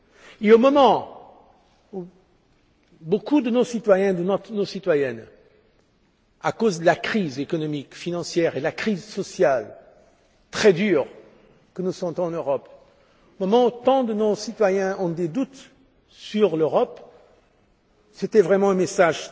Et au moment où beaucoup de nos citoyennes et de nos citoyens, à cause de la crise économique et financière et de la crise sociale, très dures, que nous ressentons en Europe, au moment où tant de nos citoyens ont des doutes sur l'Europe, le message